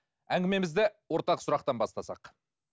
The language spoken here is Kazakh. әңгімемізді ортақ сұрақтан бастасақ